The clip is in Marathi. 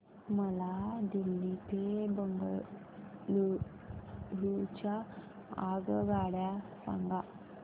मला दिल्ली ते बंगळूरू च्या आगगाडया सांगा